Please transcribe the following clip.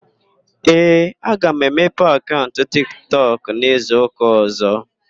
Ee, aga m emepe akaụnt Tik Tọk n'izuụka ọ̀zọ́.